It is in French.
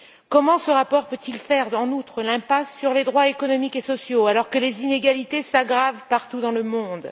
Comment ce rapport peut il faire en outre l'impasse sur les droits économiques et sociaux, alors que les inégalités s'aggravent partout dans le monde?